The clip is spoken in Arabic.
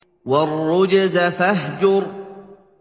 وَالرُّجْزَ فَاهْجُرْ